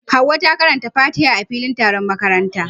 Hauwa ta karanta Fatiha a filin taron makaranta.